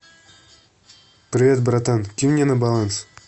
привет братан кинь мне на баланс